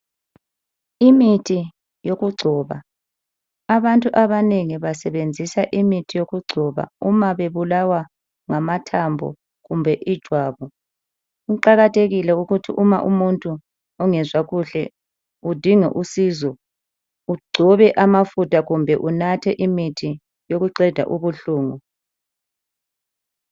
Imithi yokugcoba abantu abanengi basebenzisa imithi yokugcoba uma bebulawa ngamathambo kumbe ijwabu. Kuqakathekile ukuthi uma umuntu ongezwa kuhle udinga usizo egcobe amafutha kumbe enathe imithi yokuqeda ubuhlungu.